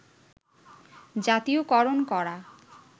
জাতীয়করণ করা